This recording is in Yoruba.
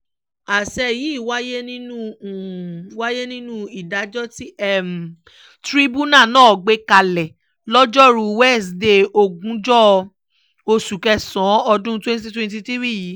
àṣẹ yìí wáyé nínú wáyé nínú ìdájọ́ tí tìrìbùnà náà gbé kalẹ̀ lojoruu wesidee ogúnjọ́ oṣù kẹsàn-án ọdún twenty twenty three yìí